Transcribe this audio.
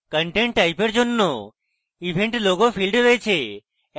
content type এর জন্য event logo field রয়েছে